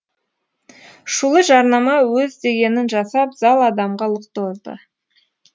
шулы жарнама өз дегенін жасап зал адамға лық толды